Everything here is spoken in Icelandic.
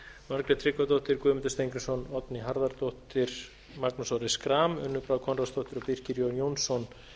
margrét tryggvadóttir guðmundur steingrímsson oddný harðardóttir magnús orri schram unnur brá konráðsdóttir og birkir jón jónsson